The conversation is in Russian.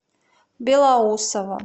белоусово